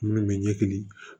Minnu bɛ ɲɛkili